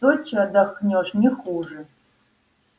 в сочи отдохнёшь не хуже